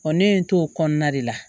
ne ye n to o kɔnɔna de la